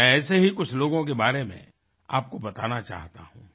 मैं ऐसे ही कुछ लोगों के बारे में आपको बताना चाहता हूँ